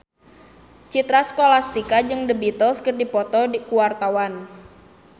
Citra Scholastika jeung The Beatles keur dipoto ku wartawan